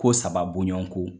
Ko saba bonɲɔn ko